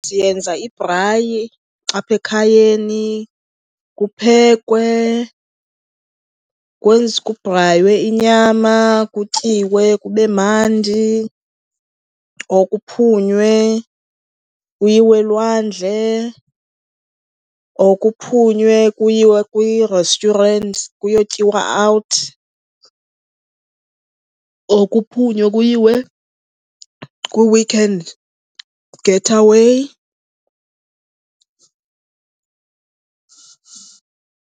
Siyenza ibhrayi apha ekhayeni kuphekwe, kubhraywe inyama, kutyiwe kube mandi or kuphunywe kuyiwe elwandle or kuphunywe kuyiwe kwii-restaurants kuyotyiwa out or kuphunywa kuyiwe kwi-weekend getaway.